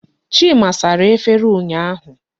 Chima sara efere ụnyaahụ.